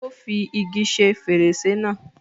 Ó fi igi ṣe fèrèsé náà